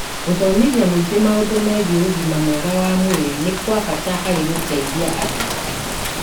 Gũthomithia mũingĩ maũndũ megiĩ ũgima mwega wa mwĩrĩ nĩ kwa bata harĩ gũteithia andũ